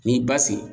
N'i ba sigi